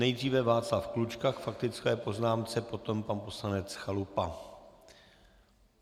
Nejdříve Václav Klučka k faktické poznámce, potom pan poslanec Chalupa.